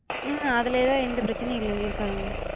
உம் அதுலலா எந்த பிரச்சனையும் இல்ல இருக்காதுங்க.